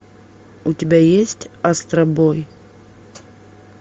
у тебя есть астробой